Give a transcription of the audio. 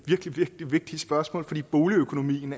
virkelig vigtige spørgsmål fordi boligøkonomien